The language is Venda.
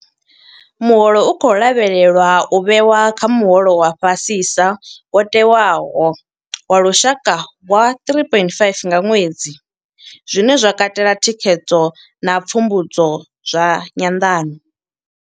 Muholo u khou lavhelelwa u vhewa kha muholo wa fhasisa wo tewaho wa lushaka wa R3 500 nga ṅwedzi, zwine zwa katela thikhedzo na pfumbudzo zwa nyanḓano.